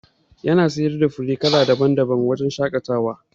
Yana siyar da fure kala daban daban wa wajajen shaƙatawa